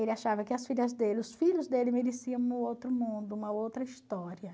Ele achava que as filhas dele os filhos dele mereciam um outro mundo, uma outra história.